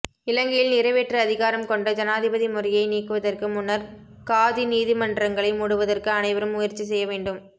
இலங்கையில் நிறைவேற்று அதிகாரம் கொண்ட ஜனாதிபதி முறையை நீக்குவதற்கு முன்னர் காதி நீதிமன்றங்களை மூடுவதற்கு அனைவரும் முயற்சி செய்யவேண்டும்